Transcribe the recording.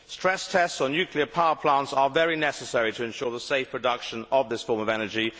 Stress tests on nuclear power plants are very necessary to ensure the safe production of this form of energy.